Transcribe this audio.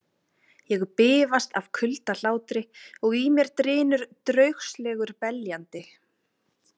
Ég bifast af kuldahlátri og í mér drynur draugslegur beljandi.